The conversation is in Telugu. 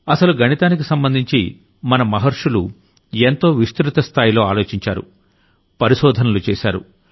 అసలు గణితానికి సంబంధించి మన మహర్షులు ఎంతో విస్తృత స్థాయిలో ఆలోచించారు పరిశోధనలు చేశారు